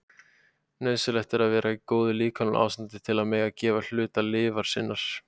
Nauðsynlegt er að vera í góðu líkamlegu ástandi til að mega gefa hluta lifur sinnar.